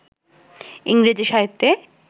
ইংরেজি সাহিত্যে